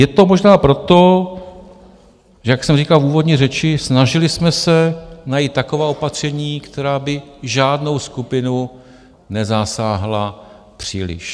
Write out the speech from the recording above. Je to možná proto, že jak jsem říkal v úvodní řeči, snažili jsme se najít taková opatření, která by žádnou skupinu nezasáhla příliš.